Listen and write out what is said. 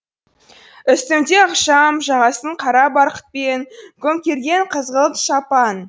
үстінде ықшам жағасын қара барқытпен көмкерген қызғылт шапан